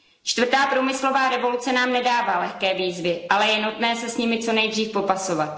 Čtvrtá průmyslová revoluce nám nedává lehké výzvy, ale je nutné se s nimi co nejdříve popasovat.